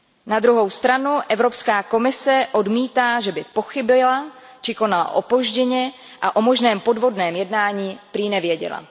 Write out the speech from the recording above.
Na druhou stranu Evropská komise odmítá, že by pochybila či konala opožděně, a o možném podvodném jednání prý nevěděla.